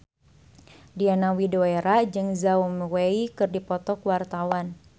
Diana Widoera jeung Zhao Wei keur dipoto ku wartawan